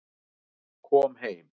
Kom heim